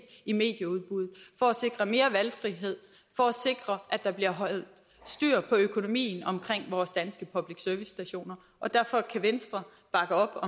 i medieudbuddet for at sikre mere valgfrihed for at sikre at der bliver holdt styr på økonomien omkring vores danske public service stationer og derfor kan venstre bakke op